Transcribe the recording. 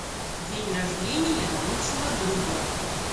день рождения лучшего друга